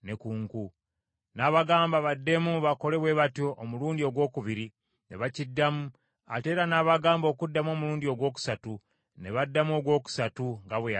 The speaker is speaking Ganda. N’abagamba baddemu bakole bwe batyo omulundi ogwokubiri, ne bakiddamu, ate era n’abagamba okuddamu omulundi ogwokusatu ne baddamu ogwokusatu nga bwe yalagira.